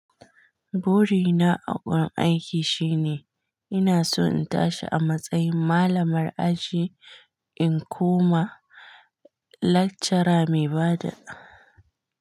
Buri na a gun aiki shine ina so in tashi a matsayin malamar aji in koma lektsora mai bada.